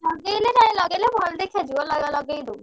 ଲଗେଇଲେ କାଇଁ ଲଗେଇଲେ ଭଲ ଦେଖାଯିବ ~ଲ ଲଗେଇଦେ।